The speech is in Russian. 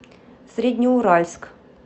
среднеуральск